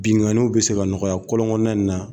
Binkaniw bɛ se ka nɔgɔya kɔlɔn kɔnɔna.